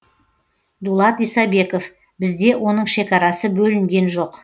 дулат исабеков бізде оның шекарасы бөлінген жоқ